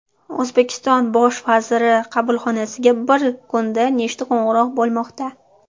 O‘zbekiston bosh vaziri qabulxonasiga bir kunda nechta qo‘ng‘iroq bo‘lmoqda?